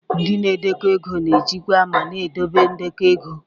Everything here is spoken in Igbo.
Ndị na-edekọ ego na-ejikwa ma na-edobe ndekọ ego.